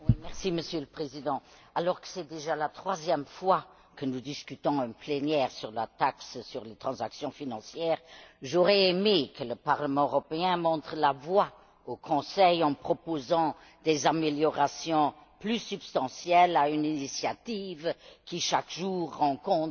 Monsieur le Président, alors que c'est déjà la troisième fois que nous discutons en plénière sur la taxe sur les transactions financières, j'aurais aimé que le Parlement européen montre la voie au Conseil en proposant des améliorations plus substantielles à une initiative qui, chaque jour, rencontre